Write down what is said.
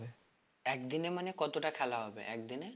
একদিনের মানে কতটা খেলা হবে একদিনে?